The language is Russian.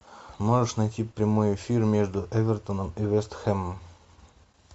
можешь найти прямой эфир между эвертоном и вест хэмом